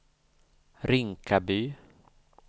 Rinkaby